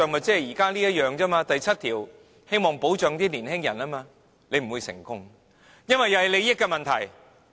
這等於現時第7條，希望保障年輕人一樣。它不會成功，因為也是利益問題。